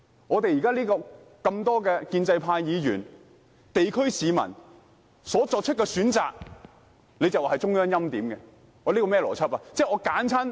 我們眾多建制派議員和地區市民所選的，他便說是中央欽點，這是甚麼邏輯？